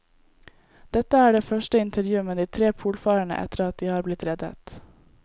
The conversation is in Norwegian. Dette er det første intervjuet med de tre polfarerne etter at de har blitt reddet.